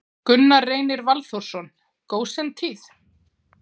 Gunnar Reynir Valþórsson: Gósentíð?